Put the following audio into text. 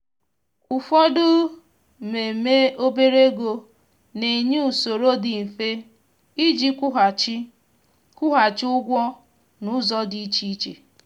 ụfọdụ mmemme obere ego na-enye usoro dị mfe iji kwụghachi kwụghachi ụgwọ na ụzọ dị iche iche